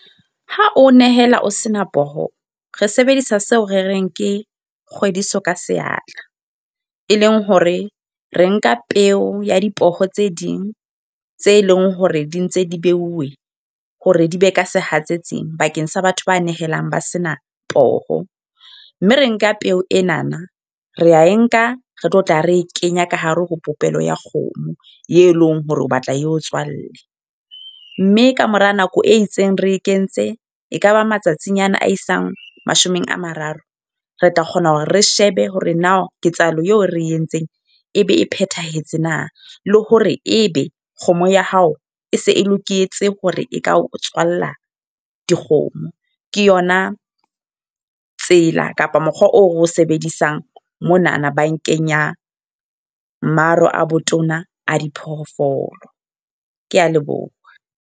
Ha o nehela ho senang poho. Re sebedisa seo re reng ke kgwediso ka seatla. E leng hore re nka peo ya dipoho tse ding, tse leng hore di ntse di beuwe hore di be ka sehatsetsing bakeng sa batho ba nehelang ba sena poho. Mme re nka peo e na na, re a e nka re tlo tla re e kenye ka hare ho popelo ya kgomo e leng hore o batla eo tswalle. Mme kamora nako e itseng re e kentse ekaba matsatsinyana a isang mashome a mararo. Re tla kgona hore re shebe hore na ketsahalo eo re e entseng ebe e phethahetse na. Le hore e be kgomo ya hao e se e loketse hore e ka o tswalla dikgomo. Ke yona tsela kapa mokgwa oo ro sebedisang monana bankeng ya Maro a Botona a Diphoofolo. Ke a leboha.